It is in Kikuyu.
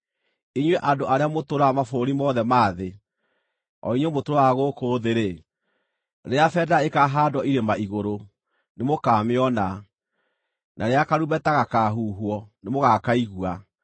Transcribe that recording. Inyuĩ andũ arĩa mũtũũraga mabũrũri mothe ma thĩ, o inyuĩ mũtũũraga gũkũ thĩ-rĩ, rĩrĩa bendera ĩkaahaandwo irĩma-igũrũ, nĩmũkamĩona, na rĩrĩa karumbeta gakaahuhwo, nĩmũgakaigua.